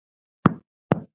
eða kannski enga þýðingu?